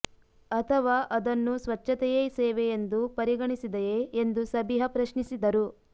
ಅಥವಾ ಅದನ್ನೂ ಸ್ವಚ್ಛತೆಯೇ ಸೇವೆ ಎಂದು ಪರಿಗಣಿಸದೆಯೇ ಎಂದು ಸಬಿಹಾ ಪ್ರಶ್ನಿಸಿದರು